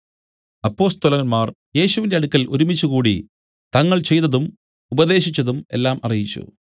അപ്പൊസ്തലന്മാർ യേശുവിന്റെ അടുക്കൽ ഒരുമിച്ചുകൂടി തങ്ങൾ ചെയ്തതും ഉപദേശിച്ചതും എല്ലാം അറിയിച്ചു